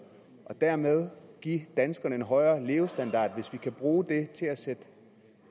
og dermed give danskerne en højere levestandard hvis vi altså kan bruge det til at sætte